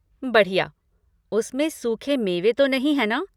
बढ़िया! उसमें सूखे मेवे तो नहीं है ना?